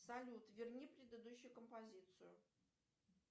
салют верни предыдущую композицию